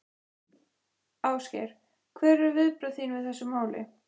Ásgeir: Hver eru viðbrögð þín við þessu máli?